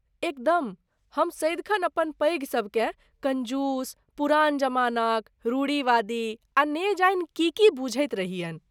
एकदम! हम सदिखन अपन पैघ सबकेँ कंजूस, पुरान जमानाक, रूढ़िवादी आ न जाने की की बुझैत रहियनि।